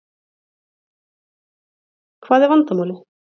Hvað er vandamálið?